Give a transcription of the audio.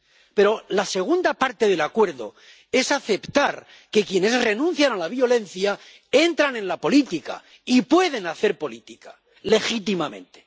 Pero la segunda parte del acuerdo es aceptar que quienes renuncian a la violencia entran en la política y pueden hacer política legítimamente.